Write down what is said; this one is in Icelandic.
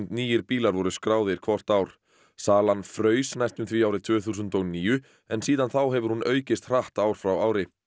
nýir bílar voru skráðir hvort ár salan fraus næstum því árið tvö þúsund og níu en síðan þá hefur hún aukist hratt ár frá ári